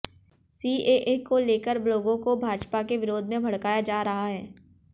CAA को लेकर लोगों को भाजपा के विरोध में भड़काया जा रहा हैं